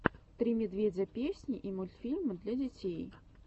три медведя песни и мультфильмы для детей